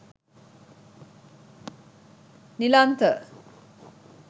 nilantha